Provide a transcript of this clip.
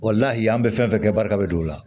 an bɛ fɛn fɛn kɛ barika bɛ don o la